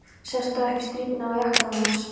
Sástu ekki strípurnar á jakkanum hans?